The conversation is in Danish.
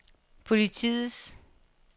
politiets